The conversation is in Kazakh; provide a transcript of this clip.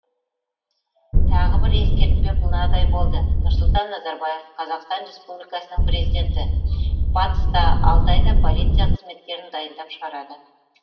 тағы бір ескертпе мынадай болды нұрсұлтан назарбаев қазақстан республикасының президенті батыста алты айда полиция қызметкерін дайындап шығарады